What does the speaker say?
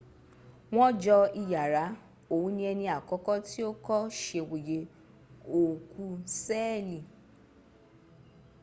wọn jọ iyàrá òun ní ẹni àkọ́kọ́ tí ó kọ́ sèwòye òòkú sẹ́ẹ̀lì